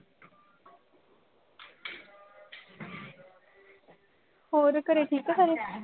ਹੋਰ ਘਰੇ ਠੀਕ ਆ ਸਾਰੇ